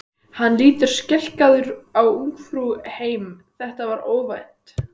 Hann lítur skelkaður á Ungfrú heim, þetta var óvænt!